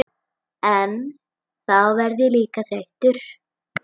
En þá verð ég líka þreyttur.